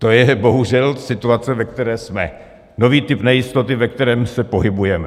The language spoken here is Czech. To je bohužel situace, ve které jsme, nový typ nejistoty, ve kterém se pohybujeme.